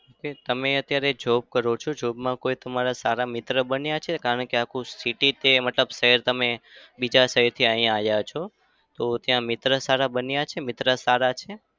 તે તમે અત્યારે job કરો છો? job માં કોઈ તમારા સારા મિત્ર બન્યા છે? કારણ કે આખું city કે મતલબ શહેર તમે બીજા શહેરથી અહિયાં આવ્યા છો તો ત્યાં મિત્ર સારા બન્યા છે? મિત્ર સારા છે?